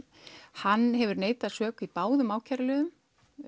hann hefur neitað sök í báðum ákæruliðum